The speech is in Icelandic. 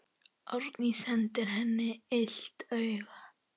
Árný sendir henni illt auga.